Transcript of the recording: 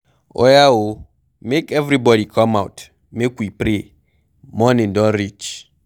Oya oo, make everybody come out make we pray morning don reach.